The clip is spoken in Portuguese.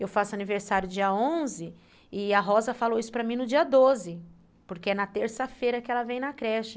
Eu faço aniversário dia onze e a Rosa falou isso para mim no dia doze, porque é na terça-feira que ela vem na creche.